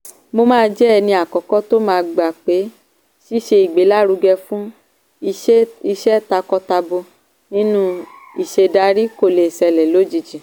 mo máa jẹ́ ẹni àkọ́kọ́ tó ma gbà pé ṣíṣe ìgbélárugẹ fún ìṣe takọ-tabo nínú ìṣèdarí kò lè ṣẹlẹ̀ lójijì.